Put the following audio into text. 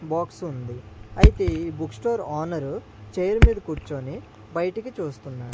Box ఉంది అయితే ఈ బుక్ స్టోర్ ఓనరు చైర్ మీద కూర్చొని బయటికి చూస్తున్నాడు.